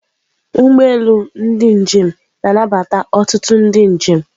Ụgbọ elu ndị njem na-anabata ọtụtụ ndị njem.